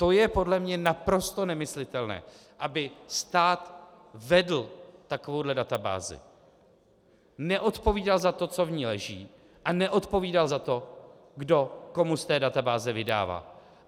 To je podle mě naprosto nemyslitelné, aby stát vedl takovouhle databázi, neodpovídal za to, co v ní leží, a neodpovídal za to, kdo komu z té databáze vydává.